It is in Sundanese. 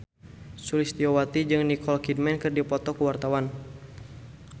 Sulistyowati jeung Nicole Kidman keur dipoto ku wartawan